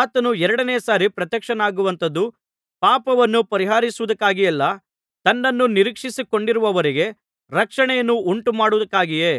ಆತನು ಎರಡನೆಯ ಸಾರಿ ಪ್ರತ್ಯಕ್ಷನಾಗುವಂಥದ್ದು ಪಾಪವನ್ನು ಪರಿಹರಿಸುವುದಕ್ಕಾಗಿಯಲ್ಲ ತನ್ನನ್ನು ನಿರೀಕ್ಷಿಸಿಕೊಂಡಿರುವವರಿಗೆ ರಕ್ಷಣೆಯನ್ನು ಉಂಟುಮಾಡುವುದಕ್ಕಾಗಿಯೇ